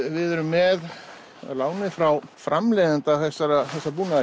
við erum með að láni frá framleiðenda þessa